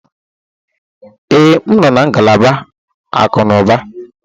Ee, m nọ na ngalaba akụnụba